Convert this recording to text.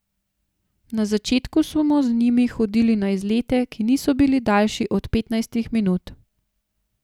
Na začetku smo z njimi hodili na izlete, ki niso bili daljši od petnajstih minut.